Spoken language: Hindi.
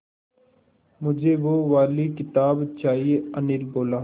मुझे वो वाली किताब चाहिए अनिल बोला